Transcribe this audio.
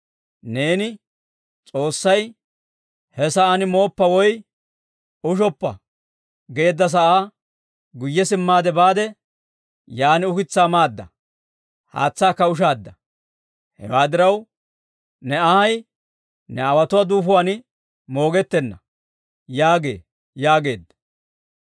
Neeni S'oossay, «He sa'aan mooppa woy ushoppa» geedda sa'aa guyye simmaade baade, yaan ukitsaa maada; haatsaakka ushaadda. Hewaa diraw, ne anhay ne aawotuwaa duufuwaan moogettenna› yaagee» yaageedda.